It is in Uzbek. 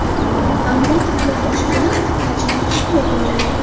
Ammo fitna fosh bo‘lib, fitnachilar qatl etildi.